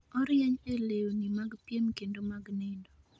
Orieny ee lewni mag piem kendo mag nindo